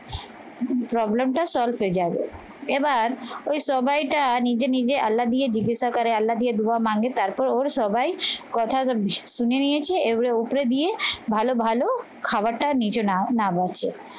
problem টা solve হয়ে যাবে এবার ওই সবাইটা নিজে নিজে আল্লা দিয়ে জিজ্ঞাসা করে আল্লা দিয়ে দোয়া মাঙ্গে তারপর ওর সবাই কথা শুনে নিয়েছে এবারে উপরে দিয়ে ভালো ভালো খাবারটা নিজে নাও না মোছ